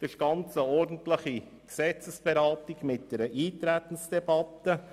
Das ist eine ordentliche Gesetzesberatung mit einer Eintretensdebatte.